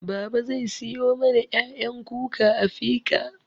Babaa zai siyo mana ƴaƴan kuka a fika